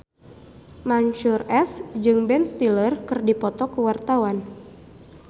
Mansyur S jeung Ben Stiller keur dipoto ku wartawan